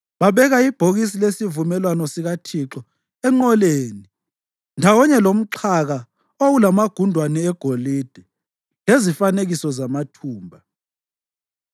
Babeka ibhokisi lesivumelwano sikaThixo enqoleni ndawonye lomxhaka owawulamagundwane egolide lezifanekiso zamathumba.